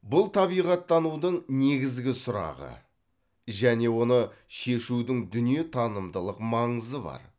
бұл табиғаттанудың негізгі сұрағы және оны шешудің дүниетанымдылық маңызы бар